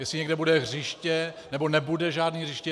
Jestli někde bude hřiště nebo nebude žádné hřiště.